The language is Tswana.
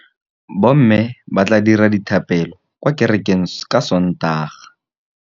Bommê ba tla dira dithapêlô kwa kerekeng ka Sontaga.